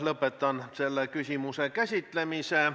Lõpetan selle küsimuse käsitlemise.